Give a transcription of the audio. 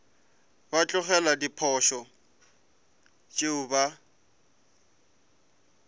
ba tlogele diposo tšeo ba